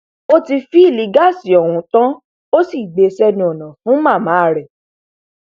ó ti fìlílì gáàsì ọhún tán ó sì gbé e sẹnu ọnà fún màmá rẹ